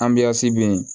bɛ yen